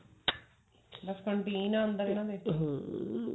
ਬਸ canteen ਹੈ ਅੰਦਰ ਇਹਨਾਂ ਦੇ